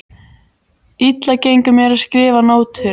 Þegar þau höfðu gengið nokkurn spöl birti meir af ljósum.